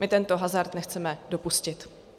My tento hazard nechceme dopustit.